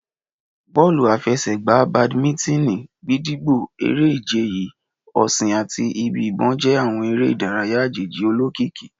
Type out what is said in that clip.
Bọọlu afẹsẹgba, bàdímínítìn, gídígbò, ere-ije yii, ọṣin ati ibi-ibọn jẹ awọn ere idaraya ajeji olokiki.